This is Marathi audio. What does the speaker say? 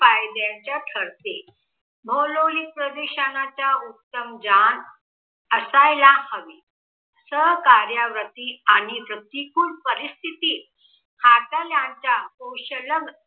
फायद्याचं ठरते भौगोलिक प्रदेशाच उत्तम ज्ञान असायला हवे. सहकार्यावृत्ती आणि प्रतिकूल परिस्थिती हातल्यांच्या कौशल्य